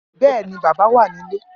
Bẹ́ẹ̀ ni bàbá wà nílé